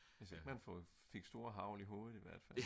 hvis man ikke fik store hagl i hovedet i hvert fald